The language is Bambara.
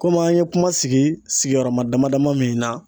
Komi an ye kuma sigi sigiyɔrɔma dama dama min na